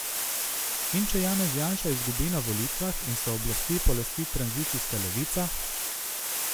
In če Janez Janša izgubi na volitvah in se oblasti polasti tranzicijska levica?